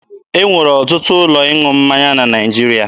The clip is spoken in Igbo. E nwere ọtụtụ ụlọ ịṅụ mmanya na Naịjirịa.